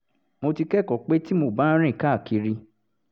mo ti kẹ́kọ̀ọ́ pé tí mo bá ń rìn káàkiri